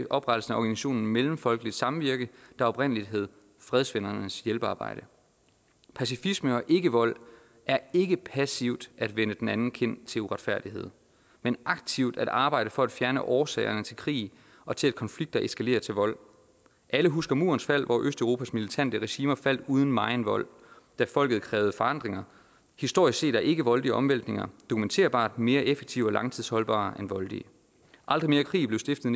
oprettelsen af organisationen mellemfolkeligt samvirke der oprindeligt hed fredsvennernes hjælpearbejde pacifisme og ikkevold er ikke passivt at vende den anden kind til uretfærdighed men aktivt at arbejde for at fjerne årsagerne til krig og til at konflikter eskalerer til vold alle husker murens fald hvor østeuropas militante regimer faldt uden megen vold da folket krævede forandringer historisk set er ikkevoldelige omvæltninger dokumenterbart mere effektive og langtidsholdbare end voldelige aldrig mere krig blev stiftet